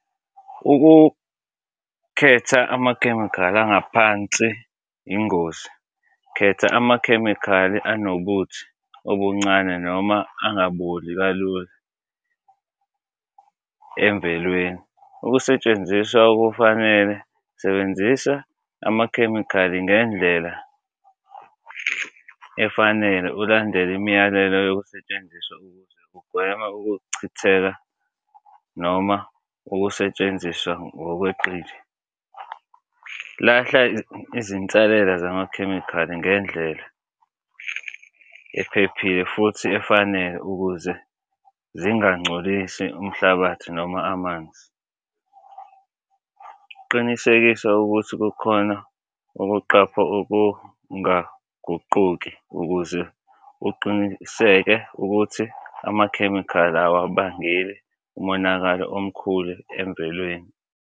Ukukhetha amakhemikhali angaphansi, ingozi, khetha amakhemikhali anobuthi obuncane noma angaboli kalula emvelweni. Ukusentsenziswa okufanele, sebenzisa amakhemikhali ngendlela efanele, ulandele imiyalelo yokusetshenziswa ukuze ukugwema ukuchitheka noma ukusetshenziswa ngokweqile. Lahla izinsalela zamakhemikhali ngendlela ephephile futhi efanele, ukuze zinga ngcolisi umhlabathi noma amanzi. Ukuqinisekisa ukuthi kukhona ukuqapha okungaguquki ukuze uqiniseke ukuthi amakhemikhali awabangeli umonakalo omkhulu emvelweni.